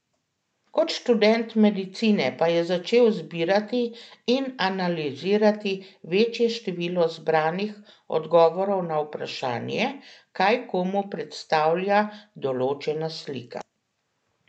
Kot študent medicine pa je začel zbirati in analizirati večje število zbranih odgovorov na vprašanje, kaj komu predstavlja določena slika.